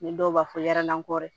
Ni dɔw b'a fɔ yɛrɛ la kɔ dɛ